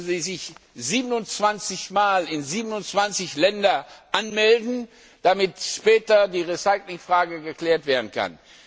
Und dann müssen Sie sich 27 mal in 27 Ländern anmelden, damit später die Recycling Frage geklärt werden kann.